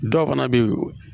Dɔw fana bɛ yen